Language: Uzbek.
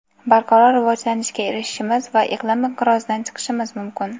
barqaror rivojlanishga erishishimiz va iqlim inqirozidan chiqishimiz mumkin.